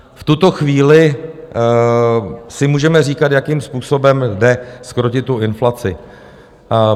V tuto chvíli si můžeme říkat, jakým způsobem jde zkrotit tu inflaci.